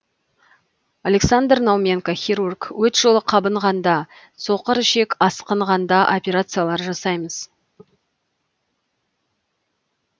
александр науменко хирург өт жолы қабынғанда соқырішектің асқынғанда операциялар жасаймыз